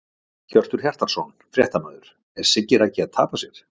Hjörtur Hjartarson, fréttamaður: Er Siggi Raggi að tapa sér?!